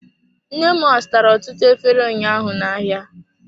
Nne m azụtara ọtụtụ efere ụnyaahụ na-ahịa.